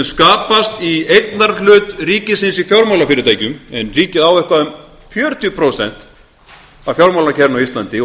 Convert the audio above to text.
skapast í eignarhlut ríkisins í fjármálafyrirtækjum en ríkið á eitthvað um fjörutíu prósent af fjármálakerfinu á íslandi og